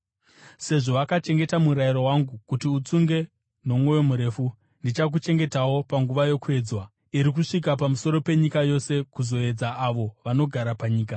Sezvo wakachengeta murayiro wangu kuti utsunge nomwoyo murefu, ndichakuchengetawo panguva yokuedzwa iri kusvika pamusoro penyika yose kuzoedza avo vanogara panyika.